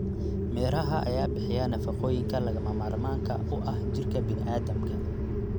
Miraha ayaa bixiya nafaqooyinka lagama maarmaanka u ah jirka bini'aadamka.